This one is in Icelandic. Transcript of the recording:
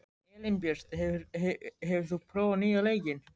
Elínbjört, hefur þú prófað nýja leikinn?